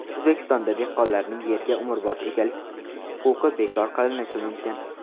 O‘zbekistonda dehqonlarning yerga umrbod egalik huquqi bekor qilinishi mumkin.